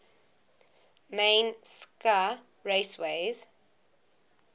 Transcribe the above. main scca raceways